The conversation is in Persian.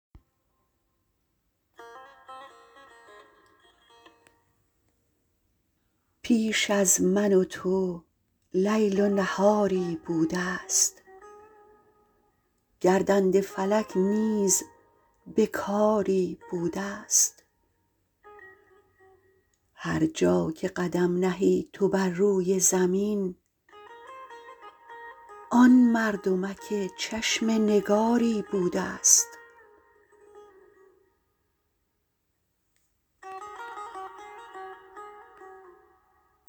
پیش از من و تو لیل و نهاری بوده ست گردنده فلک نیز به کاری بوده است هر جا که قدم نهی تو بر روی زمین آن مردمک چشم نگاری بوده ست